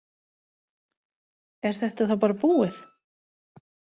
Er þetta þá bara búið?